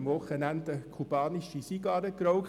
Ich habe am Wochenende eine kubanische Zigarre geraucht.